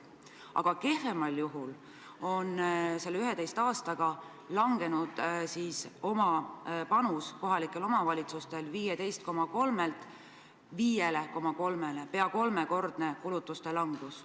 Aga kehvemal juhul on selle 11 aastaga kohalike omavalitsuste oma panus kahanenud 15,3%-lt 5,3%-le, see on peaaegu kolmekordne kulutuste vähenemine.